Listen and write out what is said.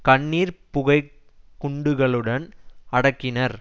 கண்ணீர் புகை குண்டுகளுடன் அடக்கினர்